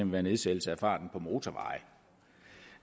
være nedsættelse af farten på motorveje